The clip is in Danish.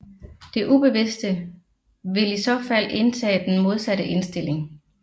Det ubevidste vil i så fald indtage den modsatte indstilling